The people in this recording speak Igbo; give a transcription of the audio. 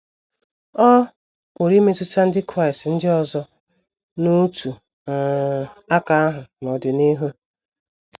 Ọ pụrụ imetụta ndị Kraịst ndị ọzọ n’otu um aka ahụ n’ọdịnihu.